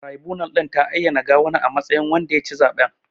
Taraibunal ɗin ta ayyana Gawuna a matsayin wanda ya ci zaɓen.